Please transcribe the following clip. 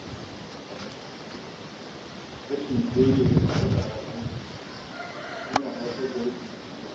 Rashin daidaita tsare-tsaren aiki ya na haifar da rashin jituwa.